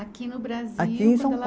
Aqui no Brasil